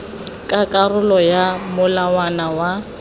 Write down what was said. ka karolo ya molawana wa